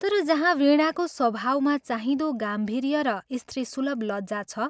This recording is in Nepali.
तर जहाँ वीणाको स्वभावमा चाहिँदो गाम्भीर्य र स्त्रीसुलभ लज्जा छ।